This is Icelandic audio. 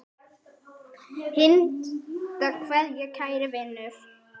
HINSTA KVEÐJA Kæri vinur.